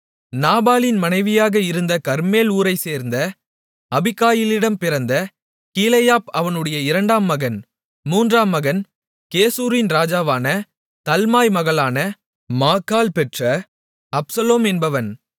நாபாலின் மனைவியாக இருந்த கர்மேல் ஊரைச்சேர்ந்த அபிகாயிலிடம் பிறந்த கீலேயாப் அவனுடைய இரண்டாம் மகன் மூன்றாம் மகன் கெசூரின் ராஜாவான தல்மாய் மகளான மாக்காள் பெற்ற அப்சலோம் என்பவன்